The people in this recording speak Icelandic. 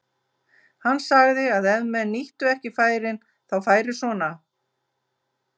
Hann sagði að ef menn nýttu ekki færin þá færi svona.